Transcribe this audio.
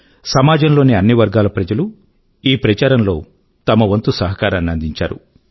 సమాజం లోని అన్ని వర్గాల ప్రజలూ ఈ ప్రచారం లో తమ వంతు సహకారాన్ని అందించారు